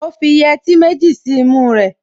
Ó fi yẹtí méjì sí imú rẹ̀